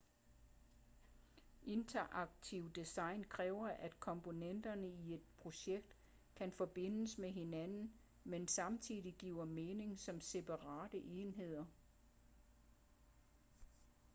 interaktivt design kræver at komponenterne i et projekt kan forbindes med hinanden men samtidig giver mening som separate enheder